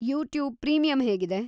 YouTube premium ಹೇಗಿದೆ?